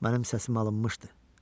Mənim səsim alınmışdı.